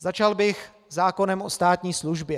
Začal bych zákonem o státní službě.